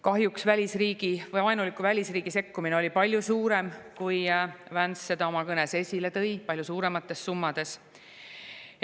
Kahjuks oli vaenuliku välisriigi sekkumine palju suurem, kui Vance oma kõnes esile tõi, palju suuremates summades.